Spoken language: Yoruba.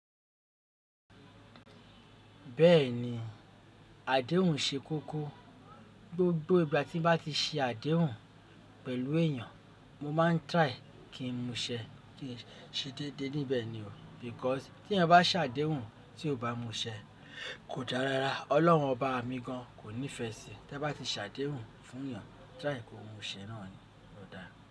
Bẹ́ẹ̀ni, àdéhùn ṣe kókó. Gbogbo ìgbà tí mo bá ti ṣe àdéhùn pẹ̀lú èèyàn, mo máa ń gbiyan kí n múṣẹ́. Ki ṣe dédé níbẹ̀ ni o, nitori pé tí ẹni bá sàdéhùn tí ó bá múṣẹ́ kò dára rárá. Ọlọ́run ọ́ba mi gan kò nífẹẹ sí i. Tẹ́ bá ti sàdéhùn fún èèyàn, tirai kí ohun ìṣẹ náà yí o dáa.